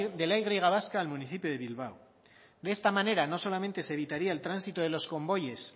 de la y vasca al municipio de bilbao de esta manera no solamente se evitaría el tránsito de los convoyes